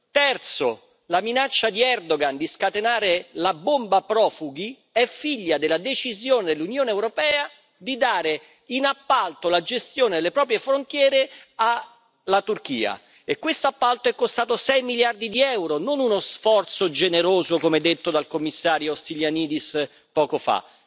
Terzo, la minaccia di Erdogan di scatenare la bomba profughi è figlia della decisione dell'Unione europea di dare in appalto la gestione delle proprie frontiere alla Turchia e questo appalto è costato sei miliardi di euro, non uno sforzo generoso come detto dal commissario Stylianides poco fa.